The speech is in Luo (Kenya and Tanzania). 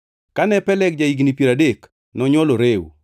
Kane Peleg ja-higni piero adek, nonywolo Reu.